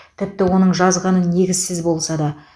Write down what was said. тіпті оның жазғаны негізсіз болса да